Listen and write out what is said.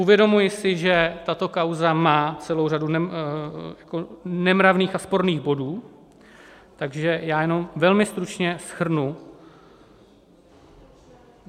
Uvědomuji si, že tato kauza má celou řadu nemravných a sporných bodů, takže já jenom velmi stručně shrnu.